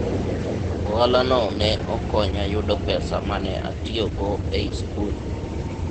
ohala no ne okonya yudo pesa mane atiyogo e sikul